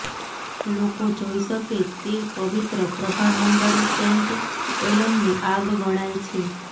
લોકો જોઈ શકે તે પવિત્ર પ્રભામંડળ સેન્ટ એલમની આગ ગણાય છે